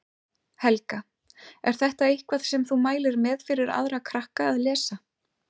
Helga: Er þetta eitthvað sem þú mælir með fyrir aðra krakka að lesa?